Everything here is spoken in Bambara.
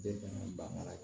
Den fɛnɛ banna